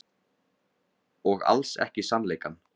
Og alls ekki sannleikann.